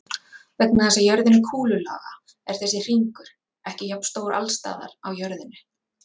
Vegna þess að jörðin er kúlulaga er þessi hringur ekki jafnstór alls staðar á jörðinni.